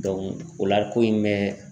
o la ko in bɛ